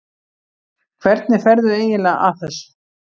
Hvernig ferðu eiginlega að þessu?